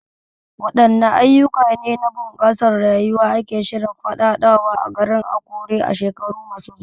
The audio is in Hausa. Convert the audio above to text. Wadanne ayyuka ne na bunƙasa rayuwa ake shirin faɗaɗawa a garin Akure a shekaru masu zuwa?